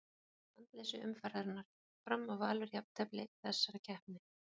Andleysi umferðarinnar: Fram og Valur Jafntefli í þessari keppni.